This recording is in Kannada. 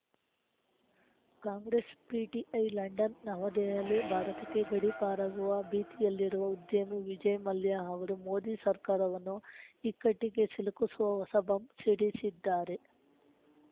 ಕಾಂಗ್ರೆಸ್‌ ಪಿಟಿಐ ಲಂಡನ್‌ನವದೆಹಲಿ ಭಾರತಕ್ಕೆ ಗಡೀಪಾರಾಗುವ ಭೀತಿಯಲ್ಲಿರುವ ಉದ್ಯಮಿ ವಿಜಯ್‌ ಮಲ್ಯ ಅವರು ಮೋದಿ ಸರ್ಕಾರವನ್ನು ಇಕ್ಕಟ್ಟಿಗೆ ಸಿಲುಕುಸುವ ಹೊಸ ಬಾಂಬ್‌ ಸಿಡಿಸಿದ್ದಾರೆ